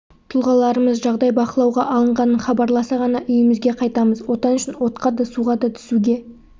тұлғаларымыз жағдай бақылауға алынғанын хабарласа ғана үйімізге қайтамыз отан үшін отқа да суға да түсуге